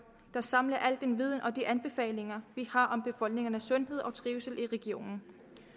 der samler al den viden og de anbefalinger vi har om befolkningernes sundhed og trivsel i regionen